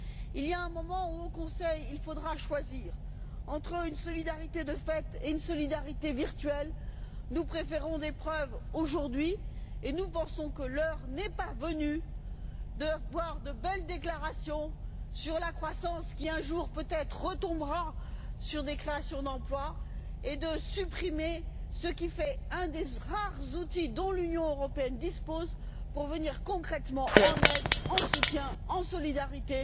Il y a un moment où, au Conseil, il faudra choisir entre une solidarité de fait et une solidarité virtuelle. Nous préférons des preuves aujourd'hui et nous pensons que l'heure n'est pas venue de voir de belles déclarations sur la croissance qui, un jour peut être, aboutira à des créations d'emplois, et de supprimer ce qui fait un des rares outils dont l'Union européenne dispose pour venir concrètement en aide, en soutien, en solidarité,